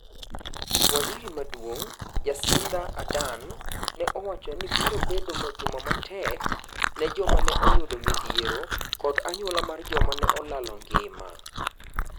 Waziri maduong' Jacinda Ardern ne owachoni biro bedo juma matek ne joma ne oyudo midhiero kod anyuola mar joma neolalo ngima.